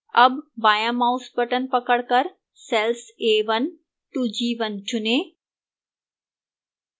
a1 बायां mouse button पकड़कर cells a1 to a1 चुनें